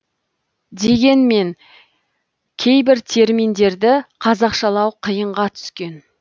дегенмен кейбір терминдерді қазақшалау қиынға түскен